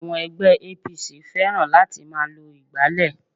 Àwọn ègbé APC fẹ́ràn láti máa lo ìgbálè